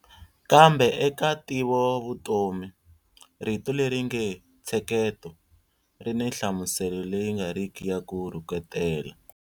Kambe eka ntivovutomi, rito leri nge ntsheketo ri ni nhlamuselo leyi nga riki ya ku rhuketela.